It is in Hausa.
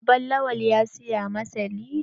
Baban Lawan ya siya masa lido.